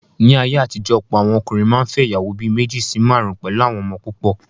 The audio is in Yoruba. Ní ayé àtijọ́, ọ̀pọ̀ àwọn ọkùnrin máa n fẹ́ ìyàwó bí méjì sí márùn pẹ̀lú àwọn ọmọ púpọ̀